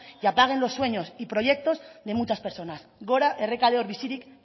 y apaguen los sueños y proyectos de muchas personas gora errekaleor bizirik